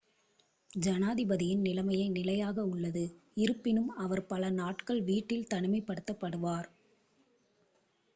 ஜனாதிபதியின் நிலைமை நிலையாக உள்ளது இருப்பினும் அவர் பல நாட்கள் வீட்டில் தனிமைப்படுத்தப்படுவார்